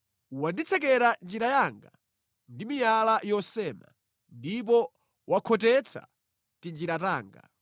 Wanditsekera njira yanga ndi miyala yosema; ndipo wakhotetsa tinjira tanga.